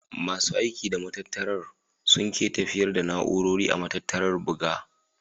Masu aiki da matattarar sun ke tafiyar da na'urori a matattarar buga.